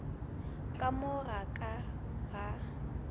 ka mo ga ka ga